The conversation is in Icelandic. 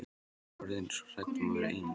Ég var þá orðin svo hrædd við að vera ein.